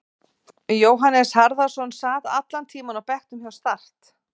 Jóhannes Harðarson sat allan tímann á bekknum hjá Start.